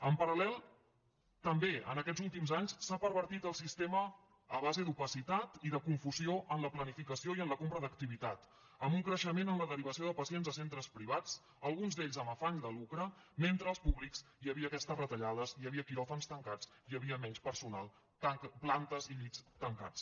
en paral·lel també en aquests últims anys s’ha pervertit el sistema a base d’opacitat i de confusió en la planificació i en la compra d’activitat amb un creixement en la derivació de pacients a centres privats alguns d’ells amb afany de lucre mentre als públics hi havia aquestes retallades hi havia quiròfans tancats hi havia menys personal plantes i llits tancats